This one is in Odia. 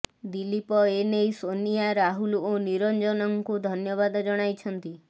ଦିଲ୍ଲୀପ ଏନେଇ ସୋନିଆ ରାହୁଲ ଓ ନିରଞ୍ଜନଙ୍କୁ ଧନ୍ୟବାଦ ଜଣାଇଛନ୍ତି